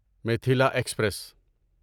Mithila express